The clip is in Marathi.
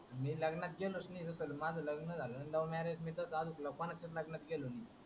मी लग्नात गेलोच नाही होत. माझ लग्न झाल. love marriage मी अजून कोणाच्या लग्नात गेलोच नाही.